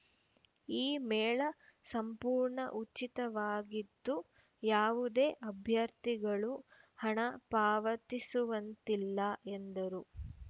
ಈ ಮೇಳ ಸಂಪೂರ್ಣ ಉಚಿತವಾಗಿದ್ದು ಯಾವುದೇ ಅಭ್ಯರ್ಥಿಗಳು ಹಣ ಪಾವತಿಸುವಂತಿಲ್ಲ ಎಂದರು